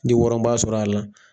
N de wɔrɔnbaa sɔr'a la.